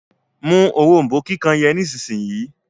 mú òrombó kíkàn yen Nísìsiyìí.